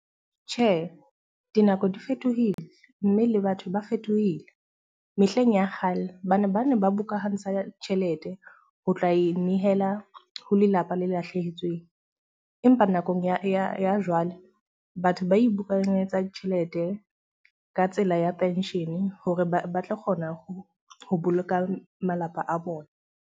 Tjhe, dinako di fetohile mme le batho ba fetohile. Mehleng ya kgale, ba ne ba bukahantsha tjhelete ho tla inehela ho lelapa le lahlehetsweng. Empa nakong ya jwale batho ba tjhelete ka tsela ya penshene hore ba tlo kgona ho boloka malapa a bona.